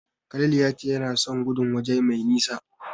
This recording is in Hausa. Khalil ya ce yana son gudun waje mai nisa.